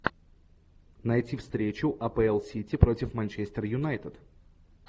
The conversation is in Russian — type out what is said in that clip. найти встречу апл сити против манчестер юнайтед